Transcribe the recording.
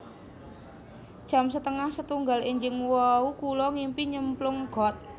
Jam setengah setunggal enjing wau kulo ngimpi nyemplung got